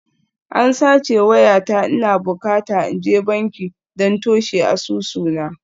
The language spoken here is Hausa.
An sace wayata, ina bukata in je banki don toshe asusuna